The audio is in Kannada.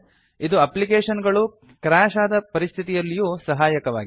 ಇದು ಅಪ್ಲಿಕೇಶನ್ ಗಳು ಕ್ರ್ಯಾಶ್ ಆದ ಪರಿಸ್ಥಿತಿಯಲ್ಲೂ ಸಹಾಯಕವಾಗಿದೆ